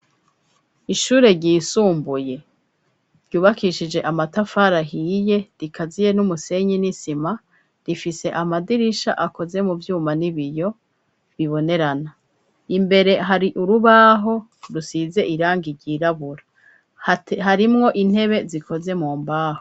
Ishure ryisumbuye, ryubakishije amatafari ahiye, rikaziye n'umusenyi n'isima; rifise amadirisha akoze mu vyuma, n'ibiyo bibonerana; imbere hari urubaho, rusize irangi ryirabura; harimwo intebe zikoze mu mbaho.